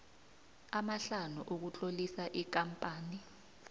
amahlanu ukutlolisa ikampani